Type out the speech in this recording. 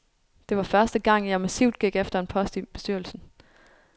Det var første gang, jeg massivt gik efter en post i bestyrelsen.